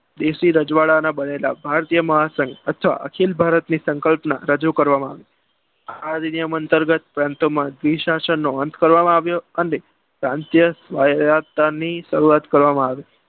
દેશી રજવાડાના બનેલા ભારતીય મહાસંગ તથા અખિલ ભારતીય મહાસંગ ને રજુ કરવામાં આવ્યા. આ નિયમ અંતર્ગત પ્રાંતમાં જે શાસન નો અંત કરવામાં આવ્યો અને પ્રાંતીય ની શરૂઆત કરવામાં આવી.